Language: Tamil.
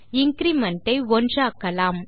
இன்கிரிமெண்ட் ஐ 1 ஆக்கலாம்